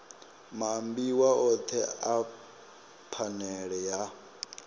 maambiwa othe a phanele a